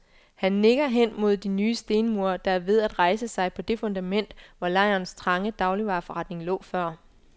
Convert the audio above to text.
Han nikker hen mod de nye stenmure, der er ved at rejse sig på det fundament, hvor lejrens trange dagligvareforretning lå før.